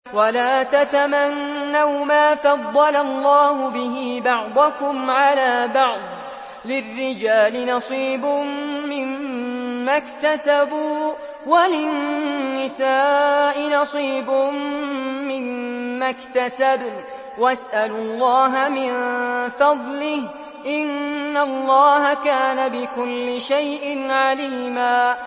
وَلَا تَتَمَنَّوْا مَا فَضَّلَ اللَّهُ بِهِ بَعْضَكُمْ عَلَىٰ بَعْضٍ ۚ لِّلرِّجَالِ نَصِيبٌ مِّمَّا اكْتَسَبُوا ۖ وَلِلنِّسَاءِ نَصِيبٌ مِّمَّا اكْتَسَبْنَ ۚ وَاسْأَلُوا اللَّهَ مِن فَضْلِهِ ۗ إِنَّ اللَّهَ كَانَ بِكُلِّ شَيْءٍ عَلِيمًا